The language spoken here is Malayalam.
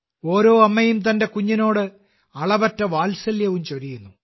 ഓരോ അമ്മയും തന്റെ കുഞ്ഞിനോട് അളവറ്റ വാത്സല്യവും ചൊരിയുന്നു